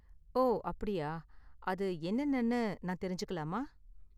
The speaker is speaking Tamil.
ஓ அப்படியா, அது என்னென்னனு நான் தெரிஞ்சுக்கலாமா?